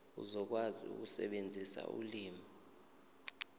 uzokwazi ukusebenzisa ulimi